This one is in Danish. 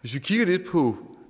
hvis vi kigger lidt på